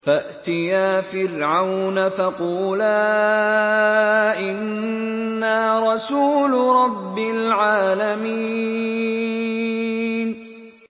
فَأْتِيَا فِرْعَوْنَ فَقُولَا إِنَّا رَسُولُ رَبِّ الْعَالَمِينَ